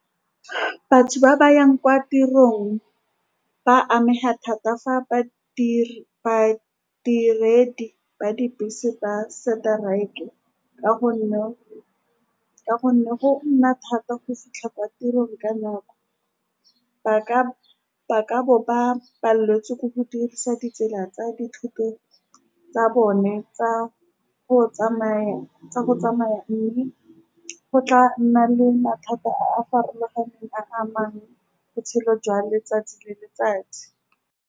Batho ba ba yang kwa tirong ba amega thata fa badiri, badiredi ba dibese ba seteraeke, ka gonne go nna thata go fitlha kwa tirong ka nako. Ba ka, ba ka bo ba paletswe ke go dirisa ditsela tsa dithoto tsa bone tsa go tsamaya, tsa go tsamaya mme go tla nna le mathata a a farologaneng a a amang botshelo jwa letsatsi le letsatsi.